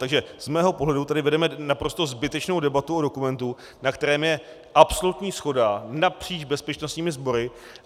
Takže z mého pohledu tedy vedeme naprosto zbytečnou debatu o dokumentu, na kterém je absolutní shoda napříč bezpečnostními sbory.